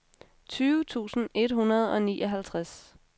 tyve tusind et hundrede og nioghalvtreds